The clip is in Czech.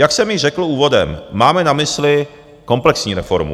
Jak jsem již řekl úvodem, máme na mysli komplexní reformu.